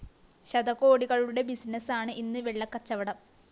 ശതകോടികളുടെ ബിസിനസാണ് ഇന്ന് വെള്ളക്കച്ചവടം